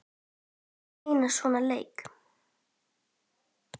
Við þurfum einn svona leik.